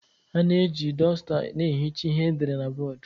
A na-eji dọzuta na-ehicha ihe edere na bọọdụ